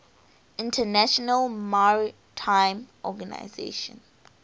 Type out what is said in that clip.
international maritime organization